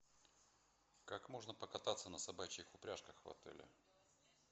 как можно покататься на собачьих упряжках в отеле